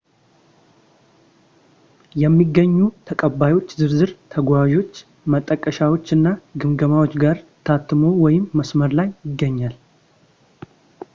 የሚገኙ ተቀባዮች ዝርዝር ተጓዦችች ማጣቀሻዎች እና ግምገማዎች ጋር ታትሞ ወይም መስመር ላይ ይገኛል